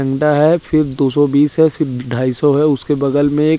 अंडा है फिर दोसो बीस है फिर ढाइसो है उसके बगल में एक--